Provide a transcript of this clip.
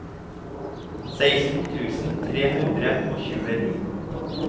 seksten tusen tre hundre og tjueni